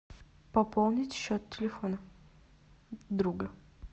пополнить счет телефона друга